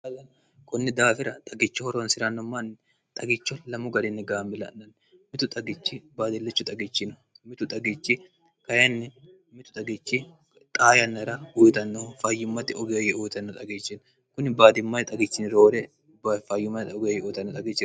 balln kunni daafira xagicho horoonsi'ranno manni xagicho lamu garinni gaammila'nanni mitu xagichi baadillichu xagichino mitu xagichi kynnimitu xagichi xayannira guyixannohu fayummate ugeyoye uitanno xagichin kuni baadimmai xagichini roore bfayummaxa ugeoyye uitanno xagih